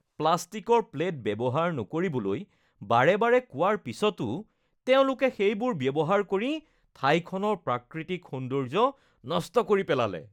প্লাষ্টিকৰ প্লেট ব্যৱহাৰ নকৰিবলৈ বাৰে বাৰে কোৱাৰ পিছতো তেওঁলোকে সেইবোৰ ব্যৱহাৰ কৰি ঠাইখনৰ প্ৰাকৃতিক সৌন্দৰ্য্য নষ্ট কৰি পেলালে।